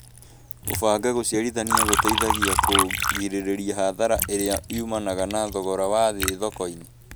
gũbanga gũciarithania gũteithagia kũgirĩrĩria hathara ĩrĩa umanaga na thogora wa thĩ thoko-inĩ